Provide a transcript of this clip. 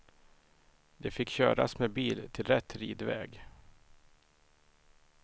De fick köras med bil till rätt ridväg.